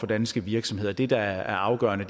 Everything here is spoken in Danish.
danske virksomheder det der er afgørende